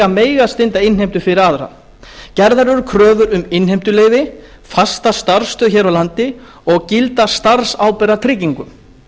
að mega stunda innheimtu fyrir aðra gerðar eru kröfur um innheimtuleyfi fasta starfsstöð hér á landi og gilda starfsábyrgðartryggingu